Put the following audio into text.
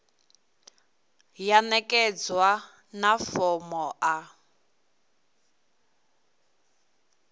ya ṋekedzwa na fomo a